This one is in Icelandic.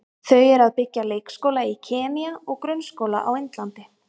Þau eru að byggja leikskóla í Kenýa og grunnskóla á Indlandi.